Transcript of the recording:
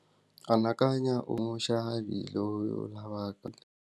Anakanya u ri muxavi loyo .